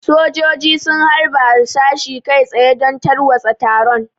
Sojoji sun harba harsashi kai tsaye don tarwatsa taron.